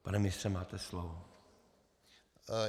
Pane ministře, máte slovo.